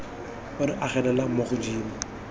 o re agelelang mo godimo